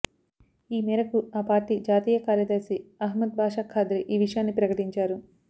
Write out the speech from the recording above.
ఈ మేరకు ఆ పార్టీ జాతీయ కార్యదర్శి అహ్మద్ భాషా ఖాద్రీ ఈ విషయాన్ని ప్రకటించారు